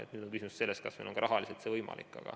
Nüüd on küsimus selles, kas meil on see ka rahaliselt võimalik.